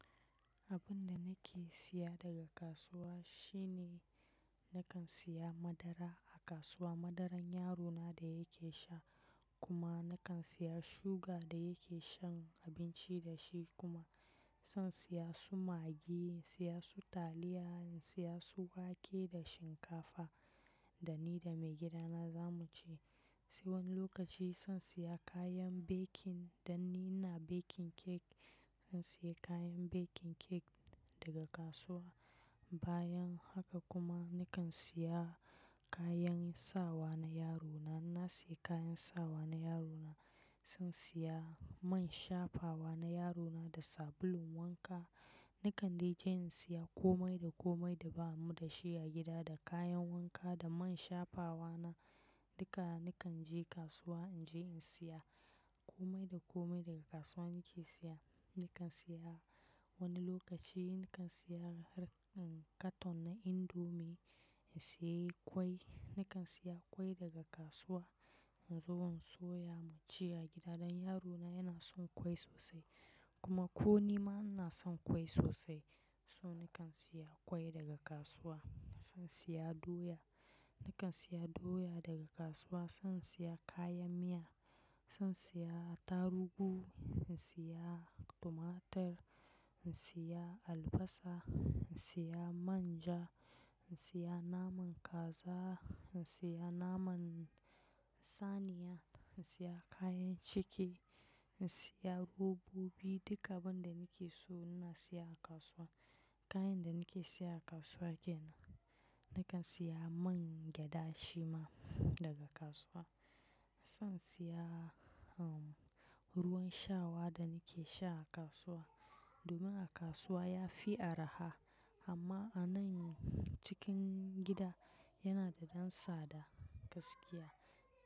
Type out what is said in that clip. Abun da nake siya daga kasuwa shine nakan siya madara a kasuwa. Madaran yarona da yake sha kuma nakan siya suga da yake shan abinci da shi kuma san siya su magi, siya su taliya, siya su wake da shinkafa da ni da maigida na zamu ci. Se wani lokaci san siya kayan baking dan ni na baking cake. San siya kayan baking cake daga kasuwa. Bayan haka kuma nakan siya kayan sawa na yarona. Na siya kayan sawa na yarona. San siya man shafawa na yarona da sabulun wanka. Nakan je in siya komai da komai da ba mu da shi a gida da kayan wanka da man shafawa na. Duka nakan je kasuwa in je in siya komai da komai daga kasuwa nake siya. Nakan siya wani lokaci nakan siya har kan katon na indomi, in siya kwai. Nakan siya kwai daga kasuwa in zo in soya mu ci a gida dan yarona yana son kwai sosai. Kuma ko ni ma na son kwai sosai. So nakan siya kwai daga kasuwa. San siya doya. Nakan siya doya daga kasuwa. San siya kayan miya. Zan siya tarugu, in siya tumatir, in siya albasa, in siya manja, in siya naman kaza, in siya naman saniya, in siya kayan ciki, in siya robobi. Duka abun da nake so ina siya a kasuwa. Kayan da nake siya a kasuwa kenan. Nakan siya man gyada shima daga kasuwa. Zan siya hm ruwan shawa da nake sha a kasuwa. Domin a kasuwa ya fi araha amma a nan cikin gida yana da dan sada gaskiya.